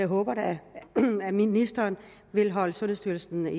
håber da at ministeren vil holde sundhedsstyrelsen